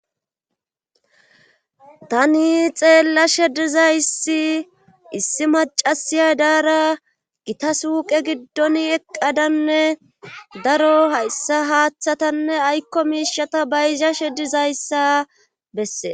Tani xeella shedizayssi issi macasiya daara gita suuqe giddon eqqadanne daro hayssa haaththatanne aykko miishata bayza she dizayssa bessee